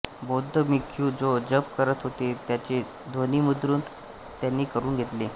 बौद्ध भिक्खू जो जप करत होते त्याचे ध्वनिमुद्रण त्यांनी करून घेतले